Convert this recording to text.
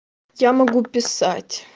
я могу писать